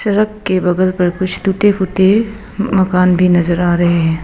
Truck के बगल पर कुछ टूटे फूटे मकान भी नजर आ रहे हैं।